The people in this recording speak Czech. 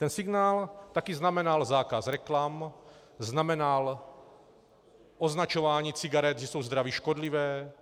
Ten signál taky znamenal zákaz reklam, znamenal označování cigaret, že jsou zdraví škodlivé,